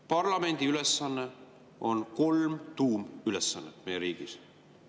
Parlamendil on kolm tuumülesannet meie riigis.